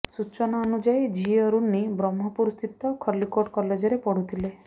ସୂଚନା ଅନୁଯାୟୀ ଝିଅ ରୁନି ବ୍ରହ୍ମପୁର ସ୍ଥିତ ଖଲ୍ଲିକୋଟ କଲେଜରେ ପଢୁଥିଲେ